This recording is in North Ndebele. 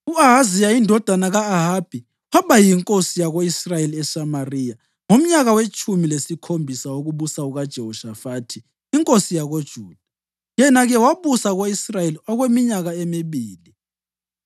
U-Ahaziya indodana ka-Ahabi waba yinkosi yako-Israyeli eSamariya ngomnyaka wetshumi lesikhombisa wokubusa kukaJehoshafathi inkosi yakoJuda, yena-ke wabusa ko-Israyeli okweminyaka emibili.